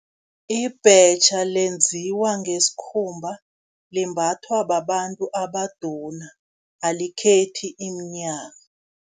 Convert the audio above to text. Ibhetjha lenziwa ngesikhumba, limbathwa babantu abaduna, alikhethi iminyaka.